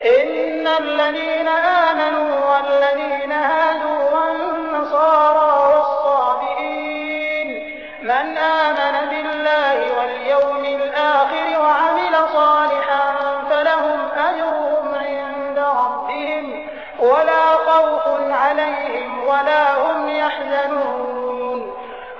إِنَّ الَّذِينَ آمَنُوا وَالَّذِينَ هَادُوا وَالنَّصَارَىٰ وَالصَّابِئِينَ مَنْ آمَنَ بِاللَّهِ وَالْيَوْمِ الْآخِرِ وَعَمِلَ صَالِحًا فَلَهُمْ أَجْرُهُمْ عِندَ رَبِّهِمْ وَلَا خَوْفٌ عَلَيْهِمْ وَلَا هُمْ يَحْزَنُونَ